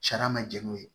Sariya ma jɛn n'o ye